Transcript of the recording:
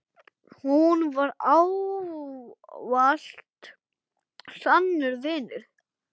Hún var ávallt sannur vinur.